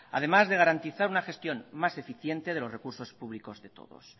además de garantizar una gestión más eficiente de los recursos públicos de todos